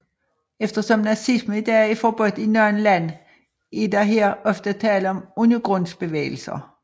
Eftersom nazisme i dag er forbudt i nogle lande er der her ofte tale om undergrundsbevægelser